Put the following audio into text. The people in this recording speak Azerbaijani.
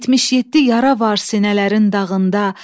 77 yara var sinələrin dağında.